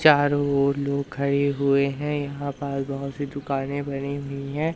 चारों ओर लोग खडे हुए है यहां पास बहोत सी दुकानें बनी हुई है।